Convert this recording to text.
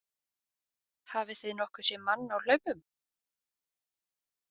Hafið þið nokkuð séð mann á hlaupum?